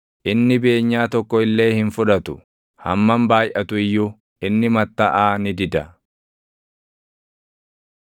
Inni beenyaa tokko illee hin fudhatu; hammam baayʼatu iyyuu inni mattaʼaa ni dida.